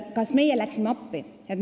Kas meie läksime appi?